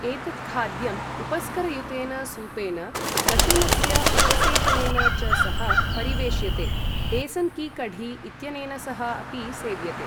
एतत् खाद्यम् उपस्करयुतेन सूपेन, लशुनस्य उपसेचनेन च सह परिवेष्यते, बेसन् की कढी इत्यनेन सह अपि सेव्यते।